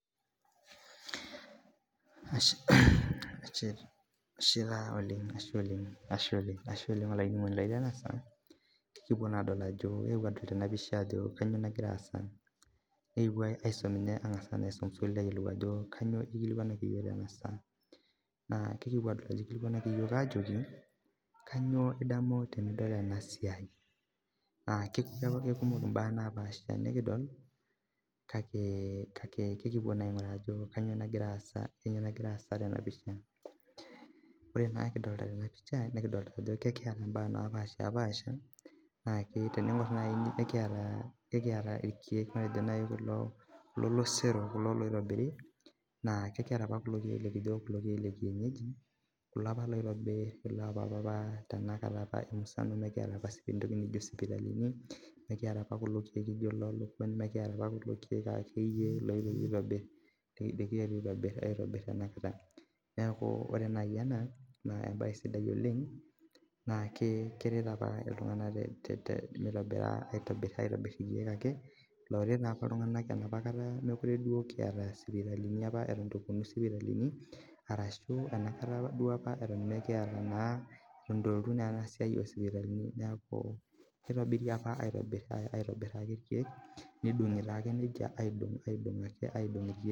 Ore naa kidolita Tena pisha nikiata ntokitin napashipasha nikiata irkeek kulo losero kulo loitobiru kulo likijo lekienyeji kulo apa oitobiri loo papa mikiata apa entoki naijio sipitali mikiata kulo keek laijio loo lukuny nimikiata kulo loioirobi ore tanakata ena naa mbae sidai oleng naa keret apa iltung'ana tenitobir aitobir irkeek looret apa iltung'ana Eton eitu epuonu sipitalini arashu enapakata Eton eitu epuonu enasiai oo sipitalini neeku kitobiri apa aitobir irkeek nidongi aidong irkee